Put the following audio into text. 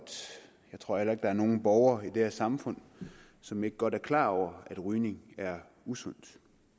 jeg tror heller ikke der er nogen borgere i det her samfund som ikke godt er klar over at rygning er usundt